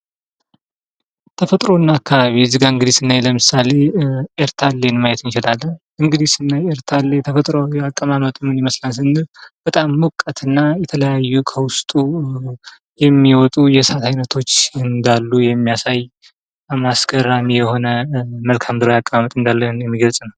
ተፈጥሮ እና አካባቢ እዚህ ጋር ስናይ ለምሳሌ ኤርታሌን ማየት እንችላለን። እንግዲህ ኤርታሌ ተፈጥሯዊ አቀማመጡ ምን ይመስላል ስንል በጣም ሞቃት እና የተለያዩ ከዉስጡ የሚወጡ የእሳት አይነቶች እንዳሉ የሚያሳይ በጣም አስገራሚ ተፈጥሯዊ አቀማመጥ እንዳለዉ የሚገልፅ ነዉ።